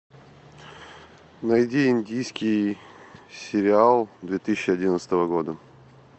найди индийский сериал две тысячи одиннадцатого года